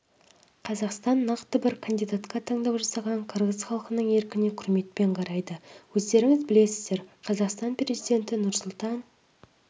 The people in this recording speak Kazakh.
қазақстан нақты бір кандидатқа таңдау жасаған қырғыз халқының еркіне құрметпен қарайды өздеріңіз білесіздер қазақстан президенті нұрсұлтан